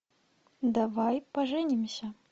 давай поженимся